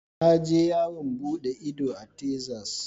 Na je yawon bude ido a tezas.